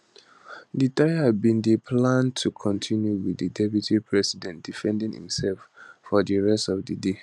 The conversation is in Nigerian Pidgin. di trial bin dey planned to continue wit di deputy president defending imsef for di rest of di day